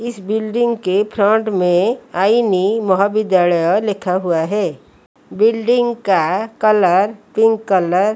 इस बिल्डिंग के फ्रंट में आई नी महाविद्यालय लिखा हुआ है बिल्डिंग का कलर पिंक कलर --